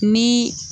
Ni